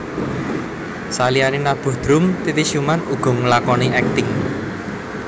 Saliyane nabuh drum Titi Sjuman uga nglakoni akting